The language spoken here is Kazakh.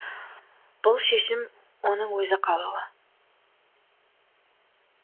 бұл шешім оның өзі қалауы